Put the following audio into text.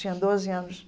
Tinha doze anos.